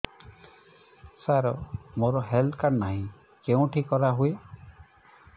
ସାର ମୋର health card ନାହିଁ କେଉଁଠି କରା ହୁଏ